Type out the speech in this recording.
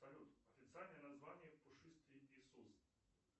салют официальное название пушистый иисус